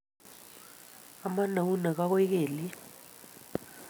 Amon eunek ago kelyek